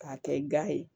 K'a kɛ ga ye